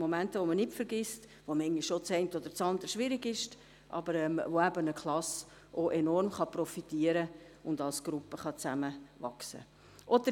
Momente, die man nicht vergisst, wo manchmal das eine oder andere schwierig ist, aber wo eine Klasse eben auch enorm profitieren und als Gruppe zusammenwachsen kann.